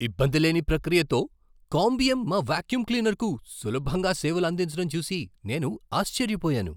ఇబ్బందిలేని ప్రక్రియతో కాంబియం మా వాక్యూమ్ క్లీనర్కు సులభంగా సేవలు అందించడం చూసి నేను ఆశ్చర్యపోయాను.